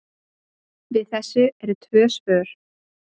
Við þessu eru tvö svör.